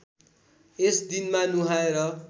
यस दिनमा नुहाएर